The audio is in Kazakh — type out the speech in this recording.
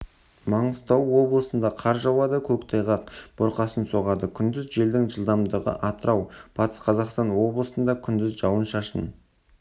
маңғыстау облысында қар жауады көктайғақ бұрқасын соғады күндіз желдің жылдамдығы атырау батыс қзақастан облысында күндіз жауын-шашын